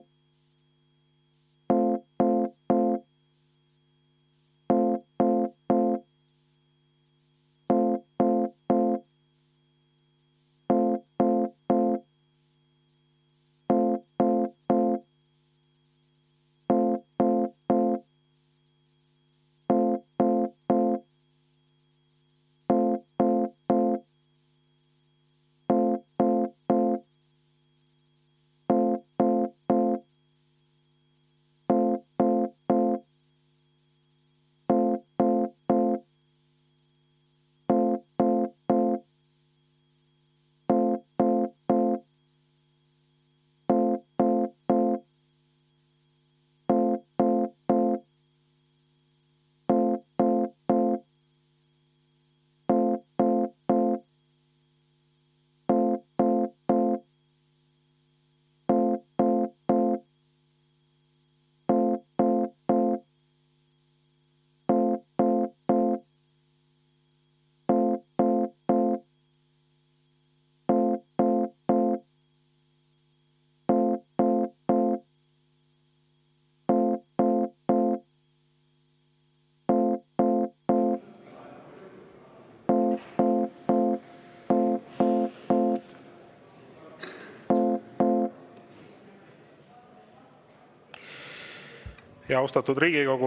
Austatud Riigikogu!